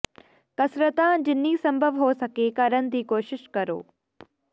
ਕਸਰਤਾਂ ਜਿੰਨੀ ਸੰਭਵ ਹੋ ਸਕੇ ਕਰਨ ਦੀ ਕੋਸ਼ਿਸ਼ ਕਰੋ